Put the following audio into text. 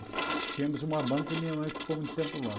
Tivemos uma banca e minha mãe ficou muito tempo lá.